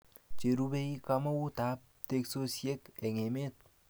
Che rubei kamaunt ab teksosiek eng emet